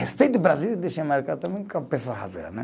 Respeita o Brasil e deixa marcar também com a pessoa rasgar né